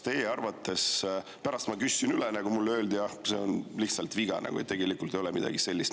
Pärast ma küsisin üle ja mulle öeldi, et see on lihtsalt viga, tegelikult ei ole seal midagi sellist.